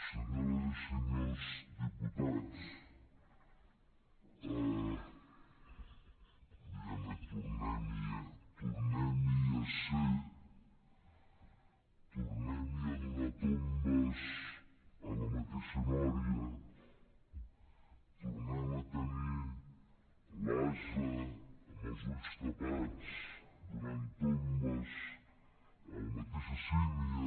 senyores i senyors diputats diguem ne tornem hi a ser tornem hi a donar tombs a la mateixa nòria tornem a tenir l’ase amb els ulls tapats donant tombs a la mateixa sínia